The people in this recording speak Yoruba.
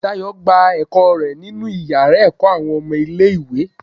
Dayo gbà ẹkọ rẹ nínú iyàrá ẹkọ awọn ọmọ ilẹ̀ ìwé